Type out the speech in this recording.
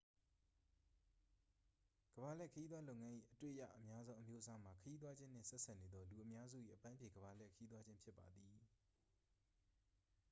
ကမ္ဘာလှည့် ခရီးသွားလုပ်ငန်း၏ အတွေ့ရအများဆုံး အမျိုးအစားမှာ ခရီးသွားခြင်းနှင့် ဆက်စပ်နေသော လူအများစု၏ အပန်းဖြေ ကမ္ဘာလှည့်ခရီးသွားခြင်းဖြစ်ပါသည်